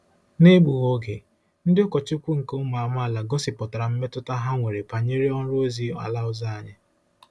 N'egbughị oge, ndị ụkọchukwu nke ụmụ amaala gosipụtara mmetụta ha nwere banyere ọrụ ozi ala ọzọ anyị.